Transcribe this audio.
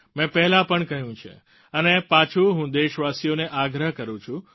મેં પહેલાં પણ કહ્યું છે અને પાછું હું દેશવાસીઓને આગ્રહ કરું છું